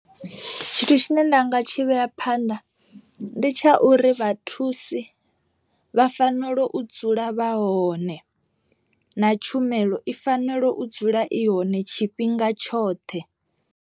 Tshithu tshine nda nga tshi vhea phanḓa ndi tsha uri vhathusi vha fanela u dzula vha hone, na tshumelo i fanela u dzula i hone tshifhinga tshoṱhe.